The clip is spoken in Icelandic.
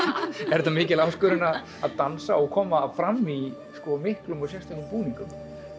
er þetta mikil áskorun að dansa og koma fram í miklum og sérstökum búningum